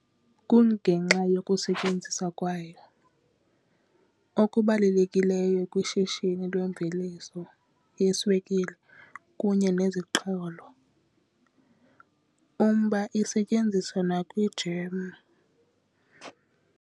Kungenxa yokusetyenziswa kwayo okubalulekileyo kwishishini lwemveliso yeswekile kunye nezixholo, umba isetyenziswa nakwijem.